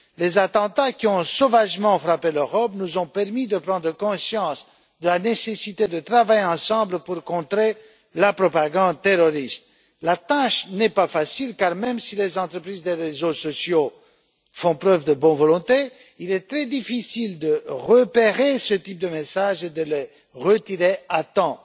Les attentats qui ont sauvagement frappé l'Europe nous ont permis de prendre conscience de la nécessité de travailler ensemble pour contrer la propagande terroriste. La tâche n'est pas facile car, même si les entreprises des réseaux sociaux font preuve de bonne volonté, il est très difficile de repérer des messages de ce type et de les retirer à temps.